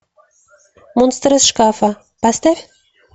монстр из шкафа поставь